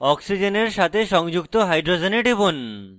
oxygen সাথে সংযুক্ত hydrogen টিপুন